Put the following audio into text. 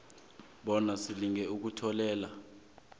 bona silinge ukutholela